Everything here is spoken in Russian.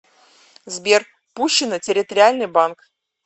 сбер пущино территориальный банк